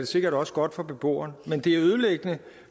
sikkert også godt for beboeren men det er ødelæggende